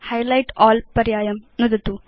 highlight अल् पर्यायं नुदतु